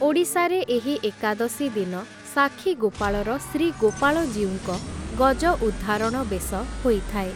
ଓଡ଼ିଶାରେ ଏହି ଏକାଦଶୀ ଦିନ ସାକ୍ଷୀଗୋପାଳର ଶ୍ରୀଗୋପାଳଜୀଉଙ୍କ ଗଜଉଦ୍ଧାରଣ ବେଶ ହୋଇଥାଏ ।